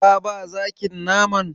Ka ba zakin naman?